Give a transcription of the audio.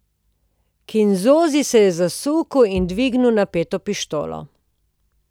Kinzonzi se je zasukal in dvignil napeto pištolo.